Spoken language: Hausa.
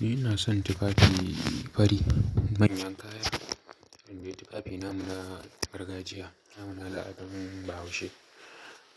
Ni ina son tufafi fari manyan kaya. Indai tufafi namu na gargajiya, ana la'akarin bahaushe.